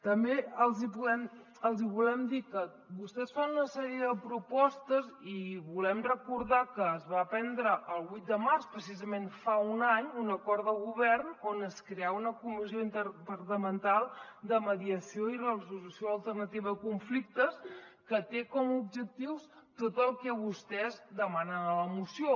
també els hi volem dir que vostès fan una sèrie de propostes i volem recordar que es va prendre el vuit de març precisament fa un any un acord de govern on es creava una comissió interdepartamental de mediació i resolució alternativa de conflictes que té com a objectius tot el que vostès demanen a la moció